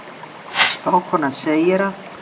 Spákonan segir að